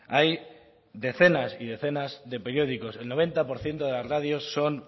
hay decenas y decenas de periódicos el noventa por ciento de las radios son